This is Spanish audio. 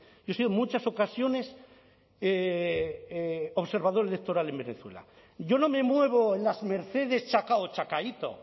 yo no me muevo en las mercedes chacao o chacaíto